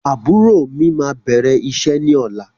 Àbúrò mí máa bẹ̀rẹ̀ iṣẹ́ ní ọ̀la.